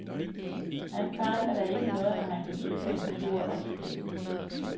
Han fejler da ikke noget, når han kan cykle en tur og skrive.